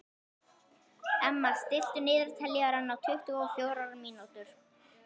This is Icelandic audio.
Emma, stilltu niðurteljara á tuttugu og fjórar mínútur.